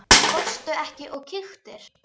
Fórstu ekki og kíktir?